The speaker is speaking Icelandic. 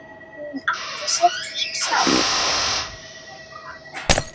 Hún átti sitt líf sjálf.